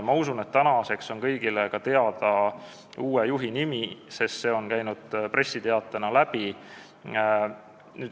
Ma usun, et tänaseks on kõigile teada uue juhi nimi, sest see on käinud pressiteatest läbi.